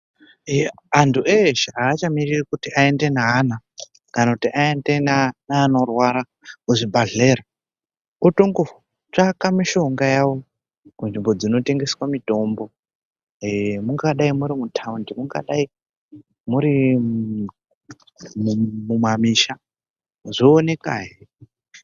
Antu eshe hachamiriri kuende neana kana kuti aende neanorwara kuzvibhadhleya, otongotsvaka mishonga yavo munzvimbo dzinotengeswa mitombo. Ee mungadai muri mutaundi mungadai muri mumamisha zvoonekahe.